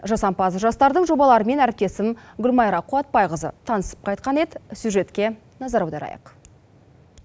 жасампаз жастардың жобаларымен әріптесім гүлмайра қуатбайқызы танысып қайтқан еді сюжетке назар аударайық